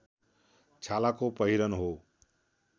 छालाको पहिरन हो